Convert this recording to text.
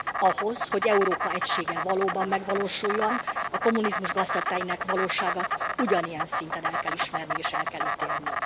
Ahhoz, hogy Európa egysége valóban megvalósuljon, a kommunizmus gaztetteinek valóságát ugyanilyen szinten el kell ismerni és el kell ítélni.